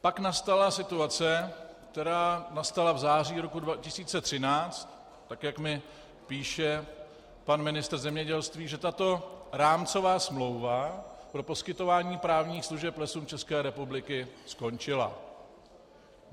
Pak nastala situace, která nastala v září roku 2013, tak jak mi píše pan ministr zemědělství, že tato rámcová smlouva pro poskytování právních služeb Lesům České republiky skončila.